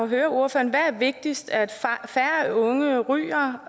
høre ordføreren hvad er vigtigst at færre unge ryger